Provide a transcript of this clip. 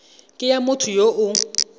ke ya motho yo o